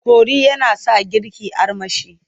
Kori yana sa girki armashi.